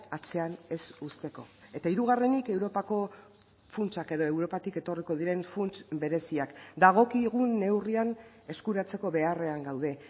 atzean ez uzteko eta hirugarrenik europako funtsak edo europatik etorriko diren funts bereziak dagokigun neurrian eskuratzeko beharrean gaude